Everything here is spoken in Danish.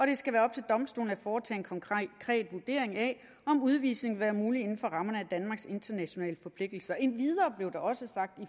det skal være op til domstolene at foretage en konkret vurdering af om udvisning vil være muligt inden for rammerne af danmarks internationale forpligtelser endvidere blev der også sagt i